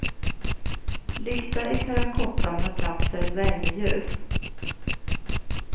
Lykta i terrakotta med plats för ett värmeljus.